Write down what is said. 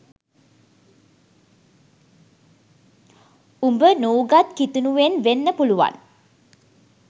උඹ නූගත් කිතුනුවෙන් වෙන්න පුලුවන්